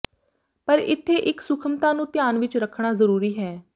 ਪਰ ਇੱਥੇ ਇਕ ਸੂਖਮਤਾ ਨੂੰ ਧਿਆਨ ਵਿਚ ਰੱਖਣਾ ਜ਼ਰੂਰੀ ਹੈ